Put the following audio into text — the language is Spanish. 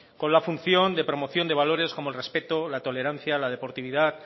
con la función de promoción de valores como el respeto la tolerancia la deportividad